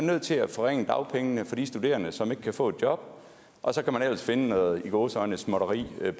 nødt til at forringe dagpengene for de studerende som ikke kan få et job og så kan man ellers finde noget i gåseøjne småtteri